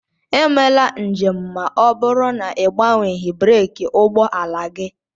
Emela njem ma ọ bụrụ na ị gbanweeghị breeki ụgbọ ala gị!